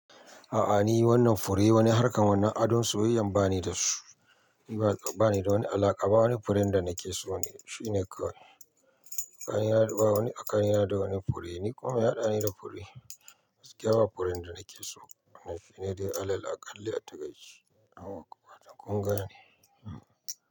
A'a ni wannan fure wani harkar wani adon soyayyan ba ni da su. Ni ba, ba ni da wani alaƙa ba wani furen da na ke so ne, shi ne kawai. Tsakani na da bawani tsakani na da wani fure, ni kuma me ya hada ni da gaskiya ba furen da nake so na fi ne dai alal a kalli a takaici. Awakwa toh kun gane. Hmm.